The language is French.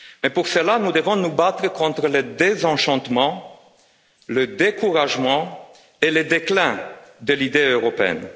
Pour cela, nous devons nous battre contre le désenchantement, le découragement et le déclin de l'idée européenne.